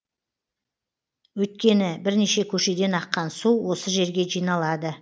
өйткені бірнеше көшеден аққан су осы жерге жиналады